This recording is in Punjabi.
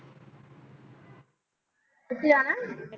ਕਿਥੇ ਜਾਣਾ ਏ